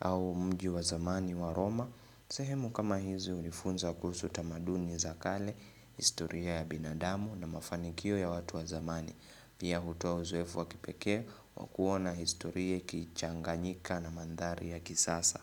au mji wa zamani wa Roma. Sehemu kama hizi hunifunza kuhusu tamaduni za kale, historia ya binadamu na mafanikio ya watu wa zamani. Pia hutoa uzoefu wa kipekee kwa kuona historia ikichanganyika na mandhari ya kisasa.